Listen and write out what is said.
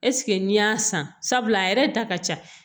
Ɛseke n'i y'a san sabula a yɛrɛ da ka ca